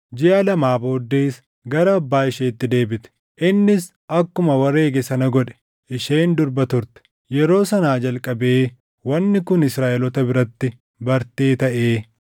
Jiʼa lamaa booddees gara abbaa isheetti deebite; innis akkuma wareege sana godhe. Isheen durba turte. Yeroo sanaa jalqabee wanni kun Israaʼeloota biratti bartee taʼee